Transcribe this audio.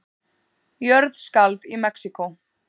Jörð skalf í Mexíkó